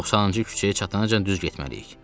90-cı küçəyə çatanacan düz getməliyik.